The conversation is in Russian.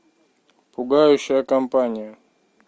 пугающая компания